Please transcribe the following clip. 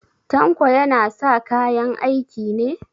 Tanko yana sa kayan aiki ne?